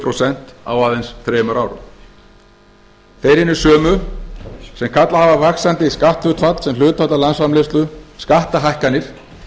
prósent á aðeins þremur árum þeir hinir sömu sem kallað hafa vaxandi skatthlutfall sem hlutfall af landsframleiðslu skattahækkanir